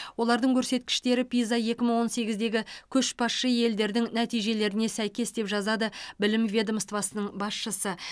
олардың көрсеткіштері пиза екі мың он сегіздегі көшбасшы елдердің нәтижелеріне сәйкес деп жазады білім ведомствосының басшысы